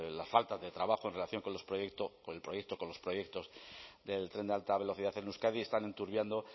la falta de trabajo en relación con los proyectos del tren de alta velocidad en euskadi están enturbiando